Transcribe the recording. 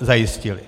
zajistili.